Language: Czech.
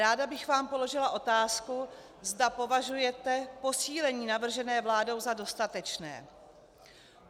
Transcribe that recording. Ráda bych vám položila otázku, zda považujete posílení navržené vládou za dostatečné.